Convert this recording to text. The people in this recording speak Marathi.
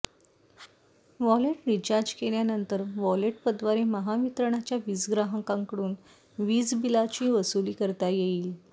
वॉलेट रिचार्ज केल्यानंतर वॉलेट पद्वारे महावितरणच्या वीजग्राहकांकडून वीजबिलांची वसुली करता येईल